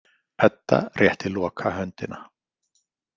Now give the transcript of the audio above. Edda rétti Loka höndina.